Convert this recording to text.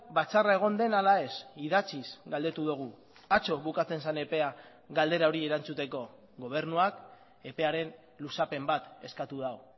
batzarra egon den ala ez idatziz galdetu dugu atzo bukatzen zen epea galdera hori erantzuteko gobernuak epearen luzapen bat eskatu du